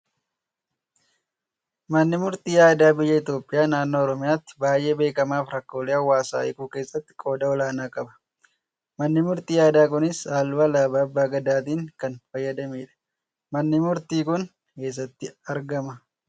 Manni murtii aadaa biyya Itoophiyaa naannoo Oromiyaatti baay'ee beekkamaa fi rakkoolee hawaasaa hikuu keessatti qooda olaanaa qaba. Manni murtii aadaa kunis halluu alaabaa Abbaa Gadaatiin kan faayyamedha. Manni murtii kun eessatti argama?